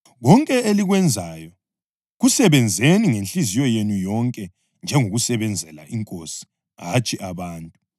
Konke elikwenzayo kusebenzeni ngenhliziyo yenu yonke njengokusebenzela iNkosi hatshi abantu,